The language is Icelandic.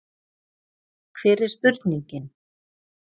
Hver er spurningin?